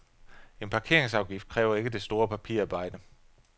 En parkeringsafgift kræver ikke det store papirarbejde.